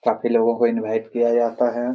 काफी लोगों को इनवाइट किया जाता है।